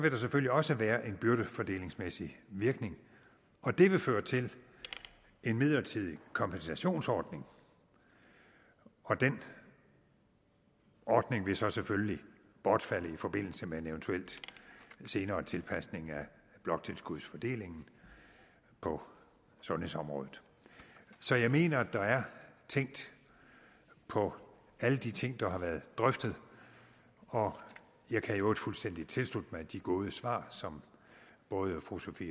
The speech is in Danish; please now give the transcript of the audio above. selvfølgelig også være en byrdefordelingsmæssig virkning og det vil føre til en midlertidig kompensationsordning den ordning vil så selvfølgelig bortfalde i forbindelse med en eventuel senere tilpasning af bloktilskudsfordelingen på sundhedsområdet så jeg mener at der er tænkt på alle de ting der har været drøftet og jeg kan i øvrigt fuldstændig tilslutte mig de gode svar som både fru sophie